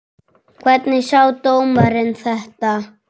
Hvernig sá dómarinn þetta?